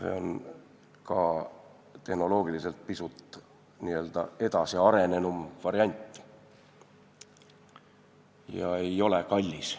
See on ka tehnoloogiliselt pisut arenenum variant ja ei ole kallis.